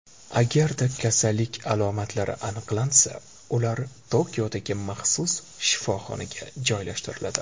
Agarda kasallik alomatlari aniqlansa, ular Tokiodagi maxsus shifoxonaga joylashtiriladi.